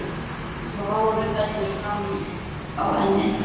Og hárið fellur fram á ennið.